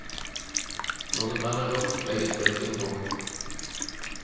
Når det brenner godt, legges brikettene på.